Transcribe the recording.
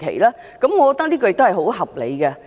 我認為這是很合理的。